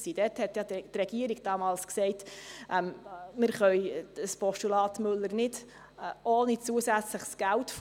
Die Regierung sagte damals, sie könne das Postulat Müller nicht ohne zusätzliches Geld von